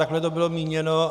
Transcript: Takhle to bylo míněno.